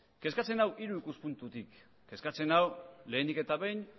kezkatzen nau hiru ikuspuntutik kezkatzen nau lehenik eta behin